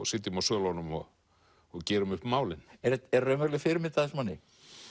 sitjum á svölunum og og gerum upp málin er er raunveruleg fyrirmynd að þessum manni